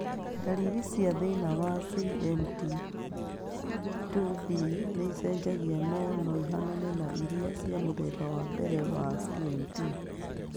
Ndariri cia thĩna wa CMT2B nĩicenjagia no noihanane na irĩa cia mũthemba wa mbere wa CMT